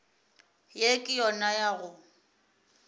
ye ke yona ya go